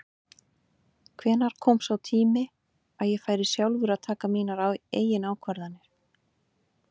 Hvenær kom sá tími að ég færi sjálfur að taka mínar eigin ákvarðanir?